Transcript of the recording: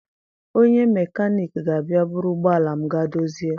Onye mekaniki ga-abịa buru ụgbọala m gaa dozie.